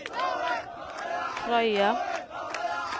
Frøya